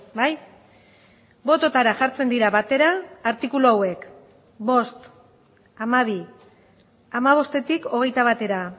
bai bototara jartzen dira batera artikulu hauek bost hamabi hamabostetik hogeita batera